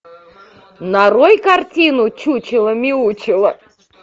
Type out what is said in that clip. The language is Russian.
нарой картину чучело мяучело